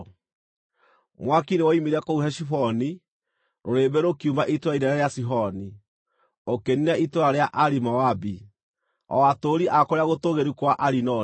“Mwaki nĩwoimire kũu Heshiboni, rũrĩrĩmbĩ rũkiuma itũũra inene rĩa Sihoni. Ũkĩniina itũũra rĩa Ari Moabi, o atũũri a kũrĩa gũtũũgĩru kwa Arinoni.